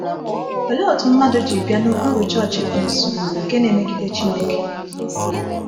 Olee otú mmadụ ji bịa n’okpuru ọchịchị Ekwensụ nke na-emegide Chineke?